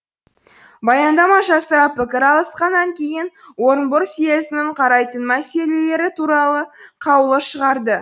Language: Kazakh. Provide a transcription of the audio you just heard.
баяндама жасап пікір алысқаннан кейін орынбор съезінің қарайтын мәселелері туралы қаулы шығарды